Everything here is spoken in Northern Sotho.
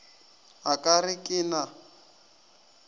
a ka re ke na